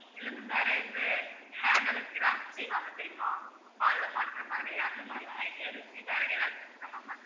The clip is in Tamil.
இல்லை ma'am வேற எந்த hand ல craft செய்வாங்க தெரியுமா wall ல மாட்டர மாதிரி அந்த மாதிரி எல்லாம் idea இருக்கு ma'am